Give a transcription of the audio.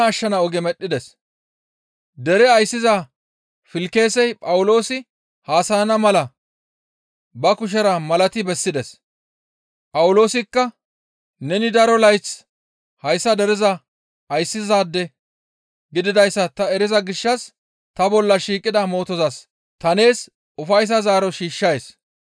Dere ayssiza Filkisey Phawuloosi haasayana mala ba kushera malati bessides; Phawuloosikka, «Neni daro layth hayssa dereza ayssizaade gididayssa ta eriza gishshas ta bolla shiiqida mootozas ta nees ufayssan zaaro shiishshays.